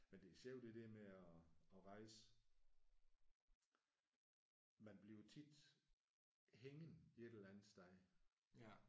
Men det er sjovt det der med at at rejse. Man bliver tit hængende et eller andet sted